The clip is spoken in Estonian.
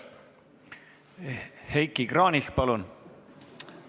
Heiki Kranich, palun!